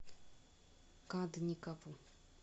кадникову